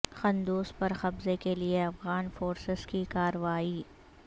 قندوز پر قبضے کے لیے افغان فورسز کی کارروائی